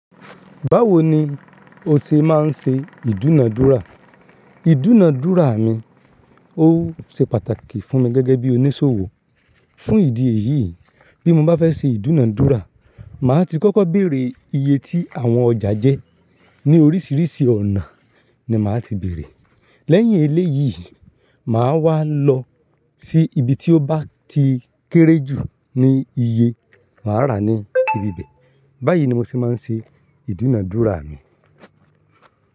Báwo ni o ṣe máa ń ṣe ìdúnadúrà? Ìdúnadúrà mi ó ṣe pàtàkì fún mi gẹ́gẹ́ bí oníṣòwò. Fún ìdí èyí, bí mo bá fẹ́ ṣe ìdúnadúrà, màá ti kọ́kọ́ bèrè iye tí àwọn ọjà jẹ́. Ni oríṣiríṣi ọ̀nà ni màá ti bèrè. Lẹ́yìn eléyìí, màá wà á lọ sí ibi tí ó bá ti kéré jù ní iye, màá rà á ní ibi bẹ́ẹ̀. Báyìí ni mo ṣe máa ń ṣe ìdúnadúrà mi.